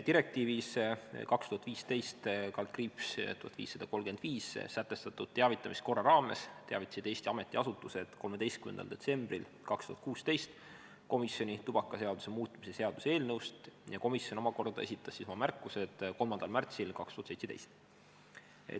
" Direktiivis 2015/1535 sätestatud teavitamiskorra raames teavitasid Eesti ametiasutused 13. detsembril 2016 komisjoni tubakaseaduse muutmise seaduse eelnõust ja komisjon omakorda esitas oma märkused 3. märtsil 2017.